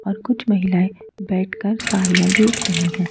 और कुछ महिलाएं बैठकर साड़ियां देख रही हैं।